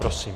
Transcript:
Prosím.